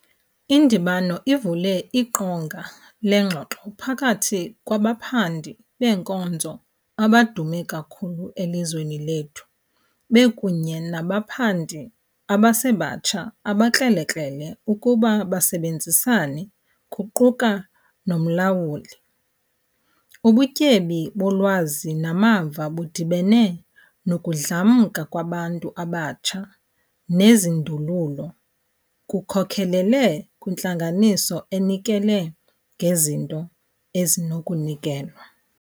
Indibano ivule iqonga leengxoxo phakathi kwabaphandi beenkozo abadume kakhulu elizweni lethu bekunye nabaphandi abasebatsha abakrelekrele ukuba basebenzisane kuquka nomlawuli. Ubutyebi bolwazi namava budibene nokudlamka kwabantu abatsha nezindululo kukhokelele kwintlanganiso enikele ngezinto ezinokunikelwa.